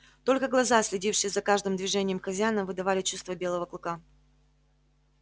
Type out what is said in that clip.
только глаза следившие за каждым движением хозяина выдавали чувства белого клыка